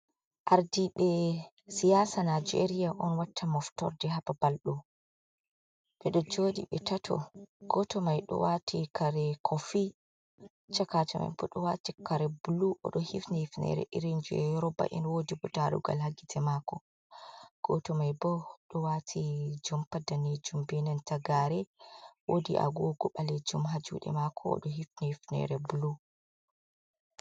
Ardiɓe siyasa Nijeriya on watta moftorde ha babalɗo, ɓeɗo jooɗi be tato,, goto mai ɗo wati kare kofi, chakajo maiboo ɗo wati kare bulu oɗo hifini hufnere irin jai yoruba en, wodi darugal ha gite mako, goto mai bo ɗo wati jumpa daneejuum benanta gare, wodi agogo ɓalejuum ha juɗe mako oɗo hifini hufnere bulu.